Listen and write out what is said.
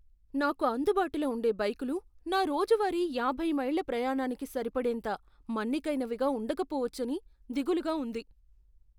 నాకు అందుబాటులో ఉండే బైకులు నా రోజువారీ యాభై మైళ్ల ప్రయాణానికి సరిపడేంత మన్నికైనవిగా ఉండకపోవచ్చని దిగులుగా ఉంది.